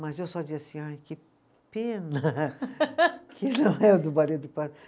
Mas eu só dizia assim, ai, que pena que não é o